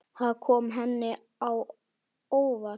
Það kom henni á óvart.